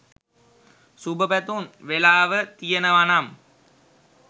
සුබ පැතුම් වෙලාව තියෙනවනම්